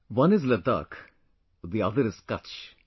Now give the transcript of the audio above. One is Ladakh; the other is Kutch